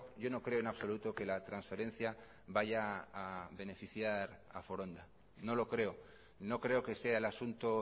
yo no creo en absoluto que la transferencia vaya a beneficiar a foronda no lo creo no creo que sea el asunto